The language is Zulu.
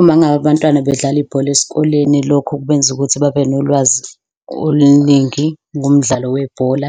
Uma ngabe abantwana bedlala ibhola esikoleni, lokho kubenza ukuthi babe nolwazi oluningi ngomdlalo webhola,